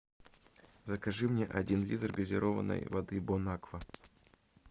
закажи мне один литр газированной воды бонаква